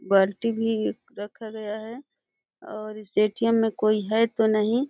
बाल्टी भी ईक रखा गया है और इस एटीएम में कोई है तो नहीं --